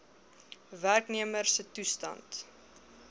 werknemer se toestand